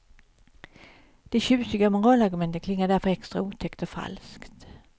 De tjusiga moralargumenten klingar därför extra otäckt och falskt.